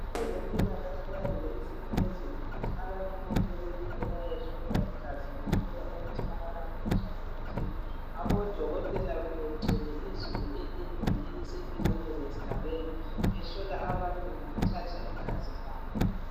abezempilakahle bayenze isimemezelo ukuthi abantu bonke bephume bayehlolwa igazi behlolwa ukuthi abala mkhuhlane ethile ngakho odokotela bebegcwele izolo etendeni eliseduzane lesigabeni behlola abantu ngokuthatha igazi labo